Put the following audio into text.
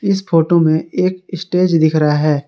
इस फोटो में एक स्टेज दिख रहा है।